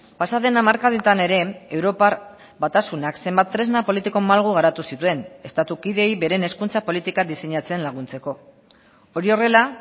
pasaden hamarkadetan ere europar batasunak zenbat tresna politiko malgu garatu zituen estatu kideei beren hezkuntza politika diseinatzen laguntzeko hori horrela